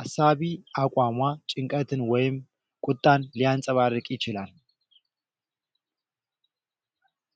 አሳቢ አቋሟ ጭንቀትን ወይም ቁጣን ሊያንጸባርቅ ይችላል።